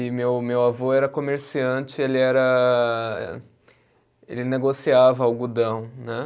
E meu meu avô era comerciante, ele era. Ele negociava algodão, né?